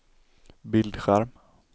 bildskärm